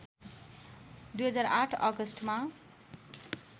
२००८ अगस्टमा